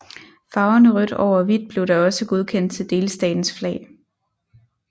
Farverne rødt over hvidt blev da også godkendt til delstatens flag